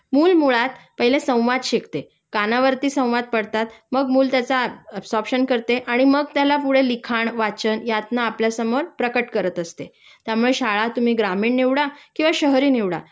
मूल मुळात पहिले संवाद शिकते.कानावरती संवाद पडतात मग मूल त्याच ऍबसॉरपशन करते आणि मग त्याला पुढे लिखाण वाचन यातन आपल्यासमोर प्रकट करत असते त्यामुळे शाळा तुम्ही ग्रामीण निवडा किंवा शहरी निवडा